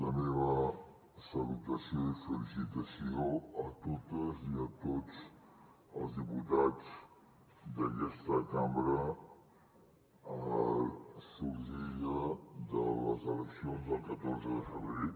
la meva salutació i felicitació a totes i a tots els diputats d’aquesta cambra sorgida de les eleccions del catorze de febrer